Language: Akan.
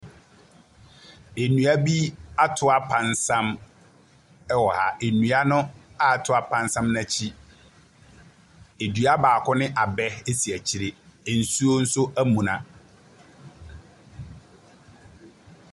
Nnua bi atoapansam ɛwɔ ha. nnua noa atoapansam no ɛkyi, edua baako ne abɛ esi akyire. Nsuo nso ɛmuna.